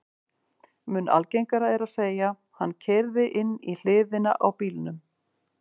Mun algengara er að segja: Hann keyrði inn í hliðina á bílnum